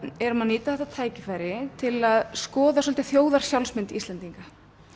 erum að nýta þetta tækifæri til að skoða svolítið Íslendinga